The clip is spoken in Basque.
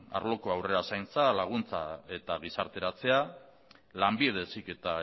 arloko harrera zaintza laguntza eta gizarteratzea lanbide heziketa